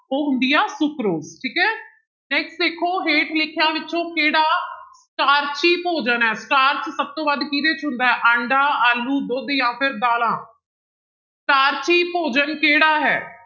ਉਹ ਹੁੰਦੀ ਆ ਸੁਕਰੋਜ ਠੀਕ ਹੈ next ਦੇਖੋ ਹੇਠ ਲਿਖਿਆਂ ਵਿੱਚੋਂ ਕਿਹੜਾ ਸਟਾਰਚੀ ਭੋਜਨ ਹੈ, ਸਟਾਰਚ ਸਭ ਤੋਂ ਵੱਧ ਕਿਹਦੇ ਵਿੱਚ ਹੁੰਦਾ ਹੈ ਆਂਡਾ, ਆਲੂ, ਦੁੱਧ ਜਾਂ ਫਿਰ ਦਾਲਾਂ ਸਟਾਰਚੀ ਭੋਜਨ ਕਿਹੜਾ ਹੈ?